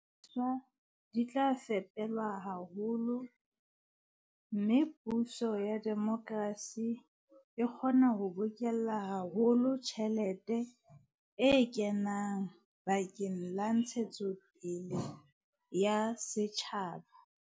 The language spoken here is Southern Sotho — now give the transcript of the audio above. Thepa le dihlahiswa di tla fepelwa haholo, mme puso ya demokrasi e kgona ho bokella haholo tjhelete e kenang bakeng la ntshetsopele ya setjhaba.